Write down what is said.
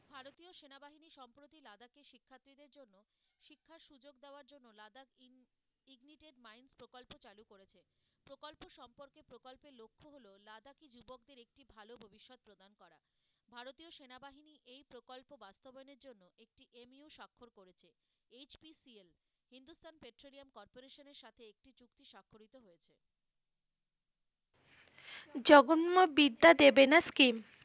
বিদ্যা দেবে না scheme .